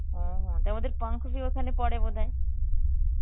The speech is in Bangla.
ওহো তা আমাদের পঙ্কজ ই ওখানে পড়ে বোধ হয়.